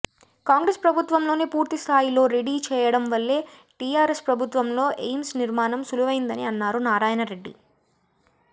కాంగ్రెస్ ప్రభుత్వంలోనే పూర్తి స్థాయిలో రెడీ చేయడం వల్లే టిఆర్ఎస్ ప్రభుత్వంలో ఎయిమ్స్ నిర్మాణం సులువైందని అన్నారు నారాయణరెడ్డి